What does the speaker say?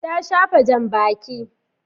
Ta shafa jan baki